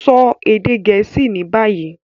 Sọ èdè Gẹẹsi ni bayi!